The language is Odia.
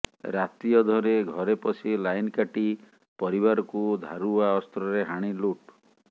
ରାତି ଅଧରେ ଘରେ ପଶି ଲାଇନ୍ କାଟି ପରିବାରକୁ ଧାରୁଆ ଅସ୍ତ୍ରରେ ହାଣି ଲୁଟ୍